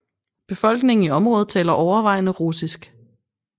Befolkningen i området taler overvejende russisk